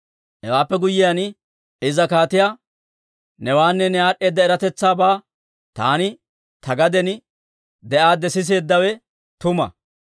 Hewaappe guyyiyaan iza kaatiyaa, «Newaanne ne aad'd'eeda eratetsaabaa taani ta gaden de'aadde siseeddawe tuma.